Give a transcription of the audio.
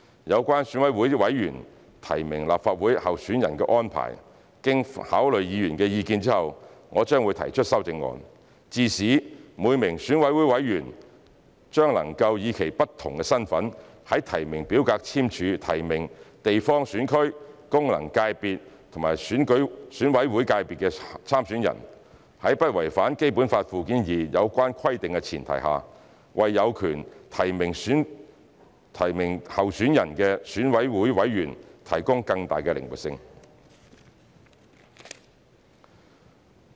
有關選委會委員提名立法會候選人的安排，經考慮議員的意見後，我將會提出修正案，致使每名選委會委員將能以其不同身份在提名表格簽署提名地方選區、功能界別和選委會界別參選人，在不違反《基本法》附件二有關規定的前提下，為有權提名候選人的選委會委員提供更大的靈活性。